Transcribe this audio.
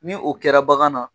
Ni o kɛra bagan na.